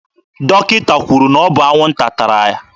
Dọkịta kwuru na ọ bụ anwụnta tara